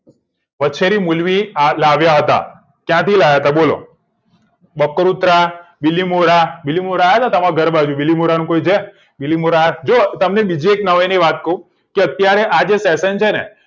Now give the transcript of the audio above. વછેરી મુલવી લાવ્યા હતા ક્યાંથી લય તા બોલો બકૃતા ગીલીમોરા આયા તમાર ઘર બાજુ ગીલીમોરા નું કોઈ છે ગીલીમોરા જો એક નવાઈ ની વાત કહું કે અત્યારે આ fashion છેને